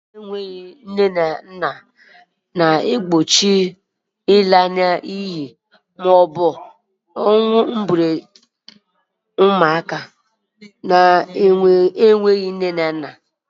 Ụlọ ndị enweghị nne na nna na-egbochi ịla n'iyi maọbụ ọnwụ nke ụmụaka enweghị nne na nna.